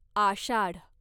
आषाढ